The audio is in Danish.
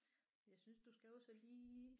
Jeg synes du skal også lige